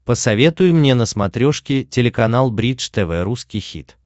посоветуй мне на смотрешке телеканал бридж тв русский хит